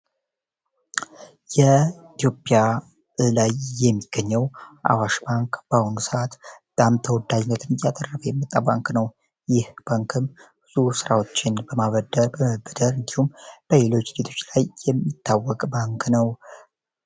በኢትዮጵያ የሚገኘው አዋሽ ባንክ በአሁኑ ጊዜ በጣም ተወዳጅነትን እያገኘ የመጣ ባንክ ነዉ። ይህም ባንክ ብድሮችን በማበደር ይታወቃል